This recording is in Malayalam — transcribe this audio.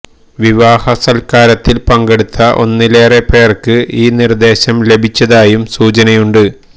വിവാഹ സല്കാരത്തില് പങ്കെടുത്ത ഒന്നിലേറെ പേര്ക്ക് ഈ നിര്ദ്ദേശം ലഭിച്ചതയാും സൂചനയുണ്ട്